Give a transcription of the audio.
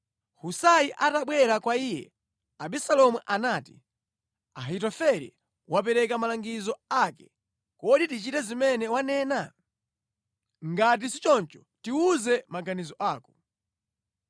Husai atabwera kwa iye, Abisalomu anati, “Ahitofele wapereka malangizo ake. Kodi tichite zimene wanena? Ngati sichoncho, tiwuze maganizo ako.”